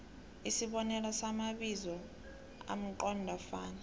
isibonelo samabizo amqondofana